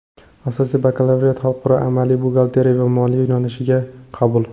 Asosiy bakalavriat Xalqaro Amaliy Buxgalterya va Moliya yo‘nalishiga qabul.